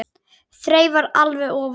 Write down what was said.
Þreifar alveg ofan í hann.